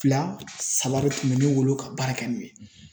Fila saba de tun bɛ ne bolo ka baara kɛ n'o ye.